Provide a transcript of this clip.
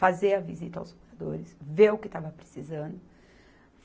fazer a visita aos moradores, ver o que estava precisando.